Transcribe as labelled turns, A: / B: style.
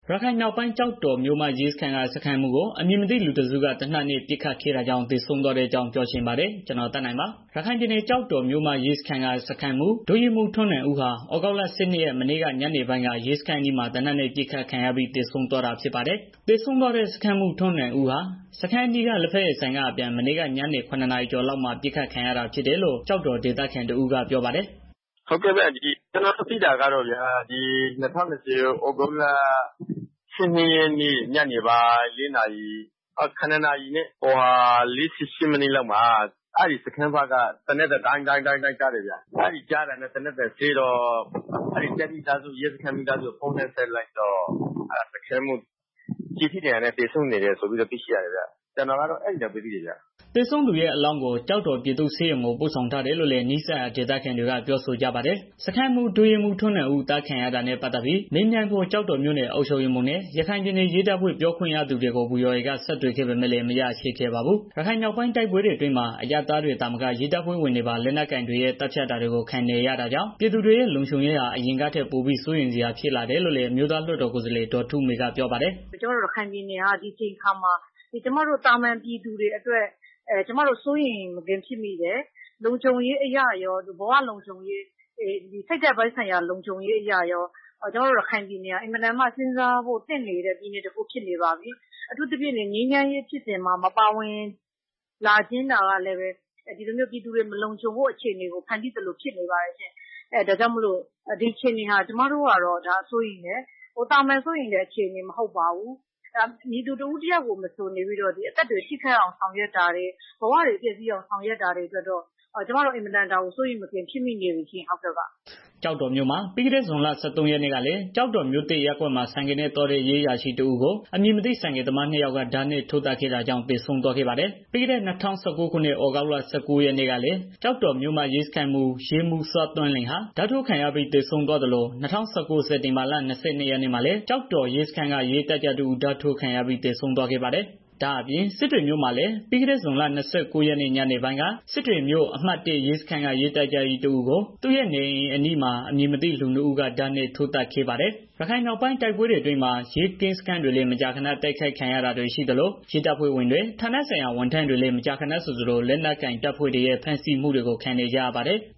A: ရခိုင်မြောက်ပိုင်း ကျောက်တော်မြို့မရဲစခန်းက စခန်းမှူးကို အမည်မသိ လူတစ်စုက သေနတ်နဲ့ ပစ်ခတ်ခဲ့တာကြောင့် သေဆုံးသွားတဲ့ အကြောင်းပြောချင်ပါတယ်။ ဗွီအိုအေမြန်မာပိုင်း သတင်းထောက် ကိုသက်နိုင်က ရခိုင်ပြည်နယ်ကနေ သတင်းပေးပို့ထားပါတယ်။ ရခိုင်ပြည်နယ် ကျောက်တော်မြို့မရဲစခန်းက စခန်းမှူး ဒုရဲမှူးထွန်းနိုင်ဦးကို သြဂုတ်လ ၁၂ ရက် မနေ့က ညနေပိုင်းက ရဲစခန်းအနီးမှာ သေနတ်နဲ့ ပစ်ခတ်ခံရပြီး သေဆုံးသွားတာဖြစ်ပါတယ်။ သေဆုံးသွားတဲ့ စခန်းမှူး ထွန်းနိုင်ဦးဟာ စခန်းအနီးက လက်ဖက်ရည်ဆိုင်က အပြန် မနေ့က ညနေ ၇နာရီ ကျော်လောက်မှာ ပစ်ခတ်ခံရတာဖြစ်တယ်လို့ ကျောက်တော်ဒေသခံတစ်ဦးက ပြောပါတယ်
B: ။ "ကျနော်တို့ သိသလောက်ကတော့ မနေ့က ညနပိုင်း ၇ နာရီကျော်လောက်က အဲဒီရဲစခန်းဘက်က သေနတ်သံ ဒိုင်းဒိုင်းဆိုပြီး ကြားတယ်။ သေနတ်သံစဲတော့ တပ်မိသားစု ရဲစခန်းမိသားစုတွေကို ဖုန်းလှမ်းဆက်ကြည့်တော့ စခန်းမှူး သေနတ်ဒဏ်ရာနဲ့ သေဆုံးနေတယ်ဆိုပြီးတော့ပြောတယ်။"
A: သေဆုံးသူရဲ့အလောင်းကို ကျောက်တော်ပြည်သူ့ဆေးရုံကို ပို့ဆောင်ထားတယ်လို့လည်း နီးစပ်ရာဒေသခံတွေက ပြောဆိုကြပါတယ်။ စခန်းမှူး ဒုရဲမှူး ထွန်းနိုင်ဦး အသတ်ခံရတာနဲ့ ပတ်သတ်ပြီး မေးမြန်းဖို့ ကျောက်တော်မြို့နယ် အုပ်ချုပ်ရေးမှူးနဲ့ ရခိုင်ပြည်နယ် ရဲတပ်ဖွဲ့ ပြောခွင့်ရသူတွေကို ဗွီအိုအေက ဆက်သွယ်ခဲ့ပေမဲ့ မရခဲ့ပါဘူး။ ရခိုင်မြောက်ပိုင်းတိုက်ပွဲတွေအတွင်းမှာ အရပ်သားတွေသာမက ရဲတပ်ဖွဲ့ဝင်တွေပါ လက်နက်ကိုင်တွေရဲ့ သတ်ဖြတ်တာတွေကို ခံနေရတာကြောင့် ပြည်သူတွေရဲ့ လုံခြုံရေး အရင်ကထက် ပိုပြီး စိုးရိမ်စရာဖြစ်လာတယ်လို့လည်း အမျိုးသားလွှတ်တော်ကိုယ်စားလှယ် ဒေါ်ထုမေက ပြောပါတယ်
C: ။ "ကျမတို့ ရခိုင်ပြည်နယ်ဟာ ဒီအချိန်မှာ သာမာန်ပြည်သူတွအတွက် ကျမတို့ စိုးရိမ်မကင်းဖြစ်မိတယ်။ လုံခြုံရေးအရရော ဘဝလုံခြုံရေးအရရော စိတ်ဓာတ်ပိုင်းဆိုင်ရာ လုံခြုံရေးအရရော ကျမတို့ ရခိုင်ပြည်နယ်ဟာ အင်မတန်မှ စဉ်းစားဖို့ သင့်နေတဲ့ ပြည်နယ်တစ်ခု ဖြစ်နေပါပြီ။ အထူးသဖြင့် ငြိမ်းချမ်းဖြစ်စဉ်မှာ မပါဝင်တာကလည်း ပြည်သူတွေ မလုံခြုံဖို့ အခြေအနေ တစ်ခုဖြစ်နေပါတယ်။ ကျမတို့က ဒီအခြေအနေကို တအားစိုးရိမ်တယ်။ သာမာန်စိုးရိမ်တဲ့ အခြေအနေ မဟုတ်တော့ဘူး။ ဘယ်သူ့ကိုမဆို အသက်တွေ ဆုံးရှုံးအောင်၊ ဘဝတွေ ဆုံးရှုံးအောင် ဆောင်ရွက်နိုင်တာကြောင့် ကျမတို့ တော်တေ်ာလေး စိုးရိမ်နေပါပြီ။"
A: ကျောက်တော်မြို့မှာ ပြီးခဲ့တဲ့ ဇွန်လ ၁၃ ရက်နေ့ကလည်း ကျောက်တော်မြို့သစ်ရပ်ကွက်မှာ ဆိုင်ကယ်နဲ့သွားတဲ့ ရဲအရာရှိတစ်ဦးကို အမည်မသိ ဆိုင်ကယ်သမားနှစ်ယောက်က ဓားနဲ့ ထိုးသတ်ခဲ့တာကြောင့် သေဆုံးသွားခဲ့ပါတယ်။ ပြီးခဲ့တဲ့ ၂၀၁၉ ခုနှစ် သြဂုတ်လ ၁၉ ရက်နေ့ကကလည်း ကျောက်တော်မြို့မရစခန်းမှူး ရဲမှူး စောသန်းလွင်ဟာ ဓားထိုးခံရပြီး သေဆုံးသွားခဲ့သလို ၂၀၁၉ စက်တင်ဘာလ ၂၂ရက်နေ့မှာလည်း ကျောက်တော်ရဲစခန်းက ရဲတပ်ကြပ်တစ်ဦး ဓားထိုးခံရပြီး သေဆုံးသွားပါသေးတယ်။ ဒါအပြင့် စစ်တွေမြို့မှာလည်း ပြီးခဲ့တဲ့ ဇွန်လ ၂၉ ရက်နေ့ ကနေပိုင်းက စစ်တွေမြို့ အမှတ် ၁ ရဲစခန်းက တပ်ကြပ်ကြီးတစ်ဦးဟာသူရဲ့ နေအိမ်အနီးမှာ အမည်မသိလူနှစ်ဦးက ဓားနဲ့ ထိုးသတ်ခံခဲ့ရပါတယ်။ ရခိုင်မြောက်ပိုင်းတိုက်ပွဲတွေ အတွင်းမှာ ရဲကင်းစန်းတွေလည်း မကြာခဏတိုက်ခံရတာတွေ ရှိသလို ရဲတပ်ဖွဲ့ဝင်တွေ ဌာနဆိုင်ရာဝန်ထမ်းတွေလည်း မကြာခဏဆိုသလို လက်နက်ကိုင်တပ်ဖွဲ့တွေရဲ့ ဖမ်းဆီးမှုတွေကို ခံနေကြရပါတယ်။